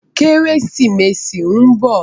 Kérésimési n bò